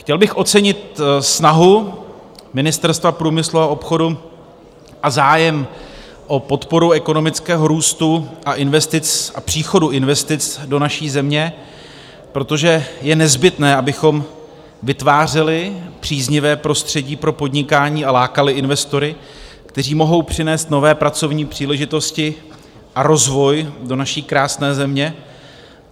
Chtěl bych ocenit snahu Ministerstva průmyslu a obchodu a zájem o podporu ekonomického růstu a příchodu investic do naší země, protože je nezbytné, abychom vytvářeli příznivé prostředí pro podnikání a lákali investory, kteří mohou přinést nové pracovní příležitosti a rozvoj do naší krásné země.